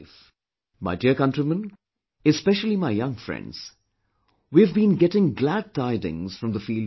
My dear countrymen, especially my young friends, we have been getting glad tidings from the field of sports